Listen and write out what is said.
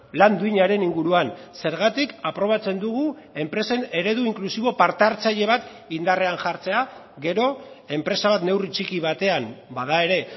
lan duinaren inguruan zergatik aprobatzen dugu enpresen eredu inklusibo parte hartzaile bat indarrean jartzea gero enpresa bat neurri txiki batean bada ere